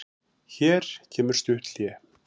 Hér kemur stutt hlé.